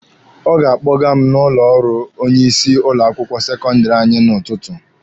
Ọ ga-akpọga m n'ụlọ ọrụ onye isi ụlọ akwụkwọ sekọndịrị anyị n'ụtụtụ.